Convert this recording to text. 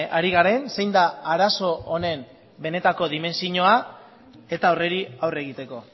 ari garen zein da arazo honen benetako dimentsioa eta horri aurre egiteko